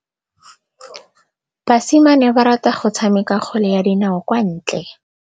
Basimane ba rata go tshameka kgwele ya dinaô kwa ntle.